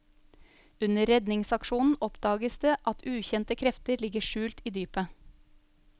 Under redningsaksjonen oppdages det at ukjente krefter ligger skjult i dypet.